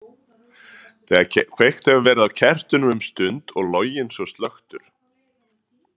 Þegar kveikt hefur verið á kertinu um stund og loginn svo slökktur.